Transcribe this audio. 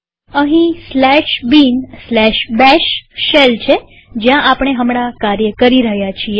અહીં bin bash shell છે જ્યાં આપણે હમણાં કાર્ય કરી રહ્યા છીએ